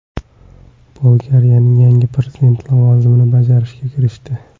Bolgariyaning yangi prezidenti lavozimini bajarishga kirishdi.